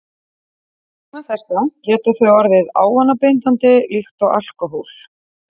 Vegna þessa geta þau orðið ávanabindandi líkt og alkóhól.